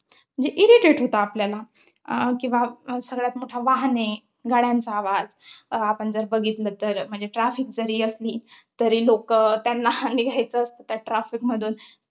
म्हणजे irritate होतं आपल्याला. किंवा सगळ्यात मोठ वाहने, गाड्यांचा आवाज. आपण जर बघितलं तर, म्हणजे traffic जरी असली, तरी लोकं त्यांना निघायचं असतं त्या traffic मधून